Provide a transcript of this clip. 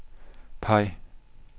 peg